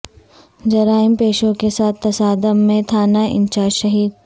جرائم پیشوں کے ساتھ تصادم میں تھانہ انچارج شہید